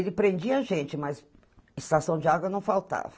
Ele prendia a gente, mas estação de água não faltava.